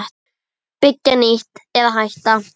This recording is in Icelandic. Byggja nýtt- eða hætta?